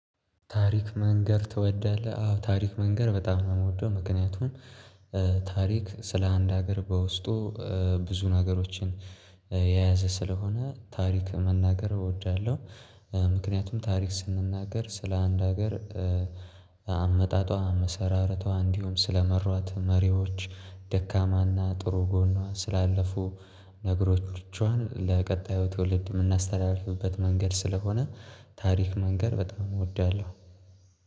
ታሪክ መንገር ትወዳለህ? አዎ ታሪክ መንገር በጣም ነው የምወደው ምክንያቱም ታሪክ ስለ አንድ ሀገር በውስጡ ብዙን ሀገሮችን የያዘ ስለሆነ ታሪክ መናገር እወዳለሁ። ምክንያቱም ታሪክ ስንናገር ስለ አንድ ሀገር አመጣጧ አመሰራረቷ እንዲሁም ስለመሯት መሪዎች ደካማና ጥሩ ጎኗ ስላለፉ ነገሮቿን ለቀጣዩ ትውልድ የምናስተላልፍበት መንገድ ስለሆነ ታሪክ መንገር በጣም እወዳለሁ።